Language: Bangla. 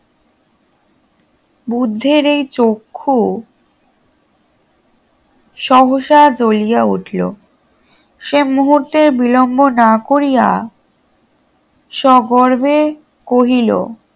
বুদ্ধের এই চক্ষু সহসাধ হইয়া উঠিল সে মুহূর্তের বিলম্ব না করিয়া স্বগর্বে কহিল